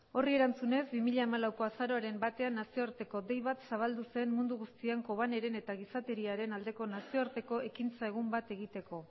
horri erantzunez bi mila hamalauko azaroaren batean nazioarteko dei bat zabaldu zen mundu guztian kobaneren eta gizateriaren aldeko nazioarteko ekintza egun bat egiteko